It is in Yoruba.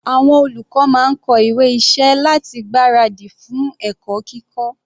Àwọn olùkọ́ máa ń kọ ìwé iṣẹ́ láti gbára dì fún ẹ̀kọ́ kíkọ́.